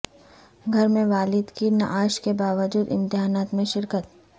گھر میں والد کی نعش کے باوجود امتحانات میں شرکت